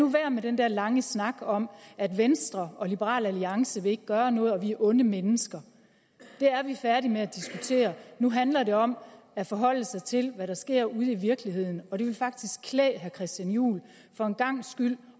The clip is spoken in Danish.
være med den den lange snak om at venstre og liberal alliance ikke vil gøre noget og at vi er onde mennesker det er vi færdige med at diskutere nu handler det om at forholde sig til hvad der sker ude i virkeligheden og det ville faktisk klæde herre christian juhl for en gangs skyld